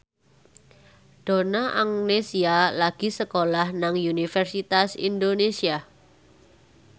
Donna Agnesia lagi sekolah nang Universitas Indonesia